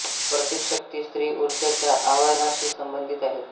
प्रतीक शक्ती स्त्री ऊर्जा च्या आवाहनाशी संबंधित आहे